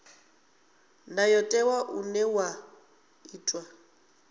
ndayotewa une wa ḓo itwa